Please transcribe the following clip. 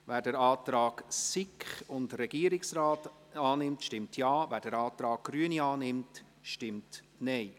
Wer den Antrag der SiK und des Regierungsrates annimmt, stimmt Ja, wer den Antrag der Grünen annimmt, stimmt Nein.